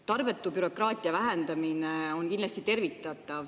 Tarbetu bürokraatia vähendamine on kindlasti tervitatav.